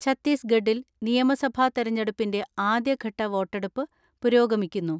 ഛത്തീസ്ഗഡിൽ നിയമസഭാ തെരഞ്ഞെടുപ്പിന്റെ ആദ്യഘട്ട വോട്ടെടുപ്പ് പുരോഗമിക്കുന്നു.